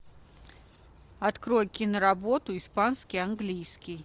открой киноработу испанский английский